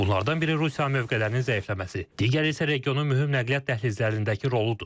Bunlardan biri Rusiyanın mövqelərinin zəifləməsi, digəri isə regionun mühüm nəqliyyat dəhlizlərindəki roludur.